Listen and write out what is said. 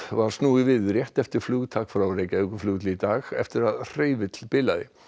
var snúið við rétt eftir flugtak frá Reykjavíkurflugvelli í dag eftir að hreyfill bilaði